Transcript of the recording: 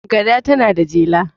gada tana da jela